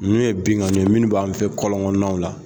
Nunnu ye binkanniw ye munnu b'an fɛ kɔlɔn kɔnɔnaw la